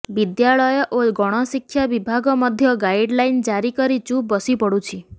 ବିଦ୍ୟାଳୟ ଓ ଗଣଶିକ୍ଷା ବିଭାଗ ମଧ୍ୟ ଗାଇଡ୍ଲାଇନ୍ ଜାରି କରି ଚୁପ୍ ବସିପଡ଼ୁଛି